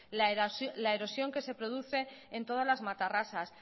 la erosión que se produce en todas las matarrasas